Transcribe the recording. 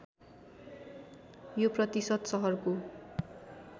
यो प्रतिशत सहरको